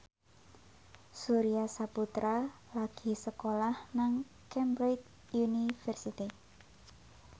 Surya Saputra lagi sekolah nang Cambridge University